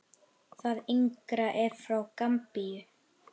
Það yngra er frá Gambíu.